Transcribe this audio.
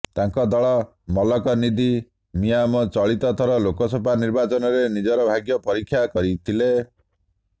ତାଙ୍କ ଦଳ ମକ୍କଲ ନିଧି ମିୟାମ ଚଳିତ ଥର ଲୋକସଭା ନିର୍ବାଚନରେ ନିଜ ଭାଗ୍ୟ ପରୀକ୍ଷା କରିଥିଲେ